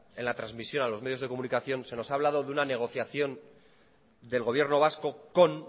en la trasmisión a los medios de comunicación se nos ha hablado de una negociación del gobierno vasco con